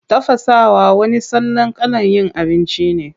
Tafasawa wani salon kalan yin abinci ne.